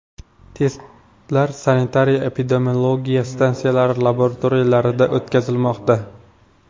Testlar sanitariya-epidemiologiya stansiyalari laboratoriyalarida o‘tkazilmoqda.